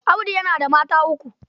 Audi yana da mata uku.